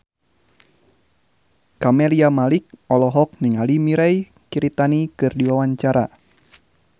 Camelia Malik olohok ningali Mirei Kiritani keur diwawancara